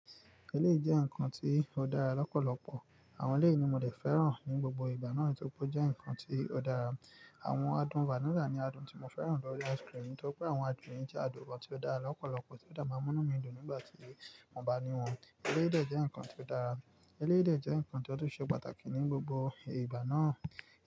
Eléyìí jẹ́ nǹkan tí ó dára lọ́pọ̀lọpọ̀. Àwọn eléyìí ni mo dè fẹ́ràn ní gbogbo ìgbà náà tí ó pé ó jẹ́ nǹkan tí ó dára. Àwọn adùn vanilla ni adùn tí mo fẹ́ràn lọ́rí ice cream, tori pé àwọn adùn yín jẹ́ adùn ọ̀tọ̀ dára lọ́pọ̀lọpọ̀ tí ó dára mu inú mi dùn nígbà tí a bá ní wọ́n. Eléyìí de jẹ́ nǹkan tí ó dára. Eléyìí de jẹ́ nǹkan tí ó ṣe pàtàkì ní gbogbo ìgbà náà.